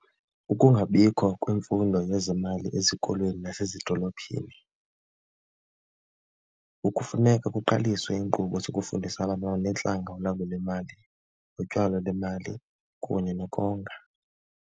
Ukungabikho kwemfundo yezemali ezikolweni nasezidolophini, ngoku kufuneka kuqaliswe iinkqubo zokufundisa abantwana neentlanga ulawulo lwemali, utyalo lemali kunye nokonga.